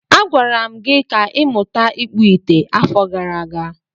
Agwara m gi ka ịmuta ịkpụ ite n'afo gara aga.